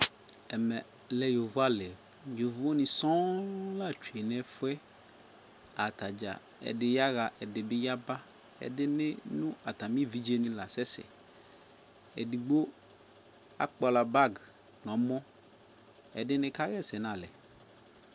Ɛmɛ lɛ yovoali yovoni sɔɔɔŋ la twee nɛfuɛ Ataɖʒa ɛdi yaɣa ɛdibi yaba atami eviɖʒeni lasɛsɛ Eɖigbo akpala bag nɔmɔ ɛdini kaɣɛsɛ nalɛ